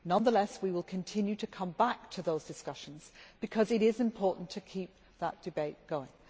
Nonetheless, we will continue to come back to those discussions because it is important to keep that debate going.